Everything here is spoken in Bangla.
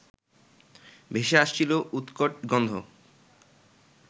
ভেসে আসছিল উৎকট গন্ধ